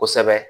Kosɛbɛ